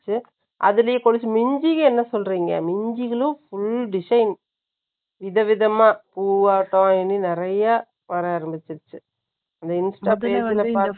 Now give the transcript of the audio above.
அதிலேயே மிஞ்சி, என்ன சொல்றீங்க? மிஞ்சிகளும், full design விதவிதமா, பூவாட்டம், இனி நிறையா, வர ஆரம்பிச்சிருச்சு